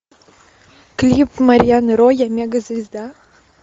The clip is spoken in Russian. клип марьяны ро я мегазвезда